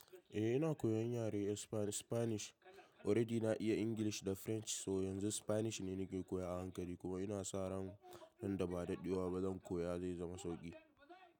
Eh ina koyan yare spanish, already na iya English da French so yanzu spanish ne nake koya a hankali kuma ina sa ran nan da ba dadewa ba zan koya zai zama sauki.